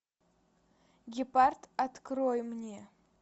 гепард открой мне